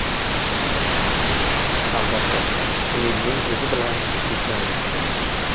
Albatta, umidning o‘zi bilan ish bitmaydi.